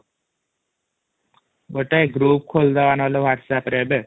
ଗୋଟେ ଗ୍ରୁପ ଖୋଲିଦାବା ନହେଲେ whatsapp ରେ ଏବେ |